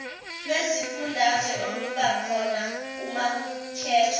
lwezifundazwe olubakhona umakukhethwa